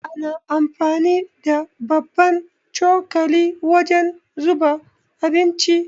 Ana amfani da babban cokali wajen zuba abinci.